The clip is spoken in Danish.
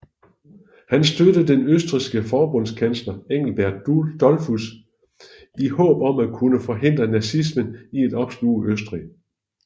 Han støttede den østrigske forbundskansler Engelbert Dollfuß i håb om at kunne forhindre nazismen i at opsluge Østrig